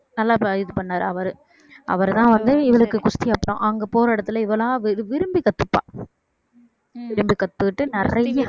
நல்லா இது பண்ணாரு அவரு அவர்தான் வந்து இவளுக்கு குஸ்தி அங்க போற இடத்துல இவளா விரும்பி கத்துப்பா விரும்பி கத்துக்கிட்டு நிறைய ஹம்